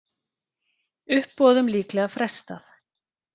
Uppboðum líklega frestað